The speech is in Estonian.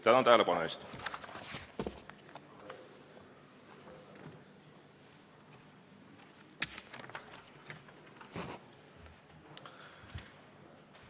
Tänan tähelepanu eest!